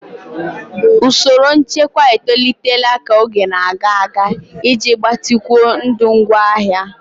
Usoro nchekwa etolitela ka oge na-aga iji gbatịkwuo ndụ ngwaahịa.